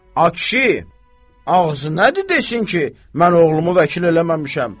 Ay kişi, ağzı nədir desin ki, mən oğlumu vəkil eləməmişəm.